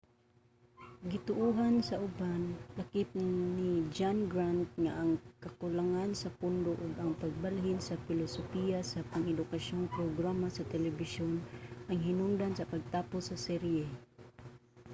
gituohan sa uban lakip ni john grant nga ang kakulangan sa pondo ug ang pagbalhin sa pilosopiya sa pang-edukasyong programa sa telebisyon ang hinungdan sa pagtapos sa serye